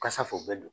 Kasa fu bɛɛ do